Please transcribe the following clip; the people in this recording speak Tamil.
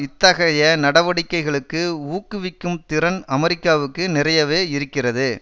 இத்தகைய நடவடிக்கைகளுக்கு ஊக்குவிக்கும் திறன் அமெரிக்காவுக்கு நிறையவே இருக்கிறது